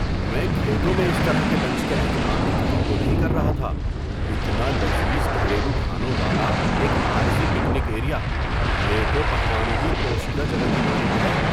میں کھیتوں میں اس طرح کے لنچ کے اہتمام کی توقع نہیں کر رہا تھا – اتنا لذیذ گھریلو کھانوں والا ایک عارضی پکنک ایریا! یہ تو پکوانوں کی پوشیدہ جگہ کی مانند ہے!